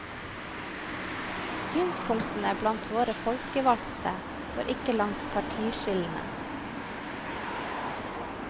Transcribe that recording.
Synspunktene blant våre folkevalgte går ikke langs partiskillene.